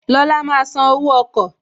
Lọla máa san owó ọkọ̀